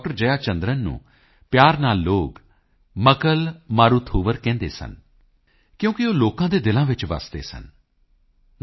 ਜਯਾ ਚੰਦਰਨ ਨੂੰ ਪਿਆਰ ਨਾਲ ਲੋਕ ਮੱਕਲ ਮਾਰੂਥੂਵਰ ਕਹਿੰਦੇ ਸਨ ਕਿਉਂਕਿ ਉਹ ਲੋਕਾਂ ਦੇ ਦਿਲਾਂ ਵਿੱਚ ਵਸਦੇ ਸਨ ਡਾ